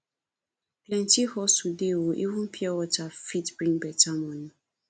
plenty hustle dey o even pure water fit bring beta money